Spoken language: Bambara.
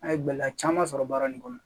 A ye gɛlɛya caman sɔrɔ baara in kɔnɔ